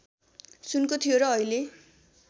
सुनको थियो र अहिले